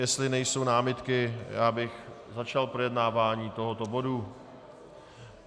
Jestli nejsou námitky, já bych začal projednávání tohoto bodu.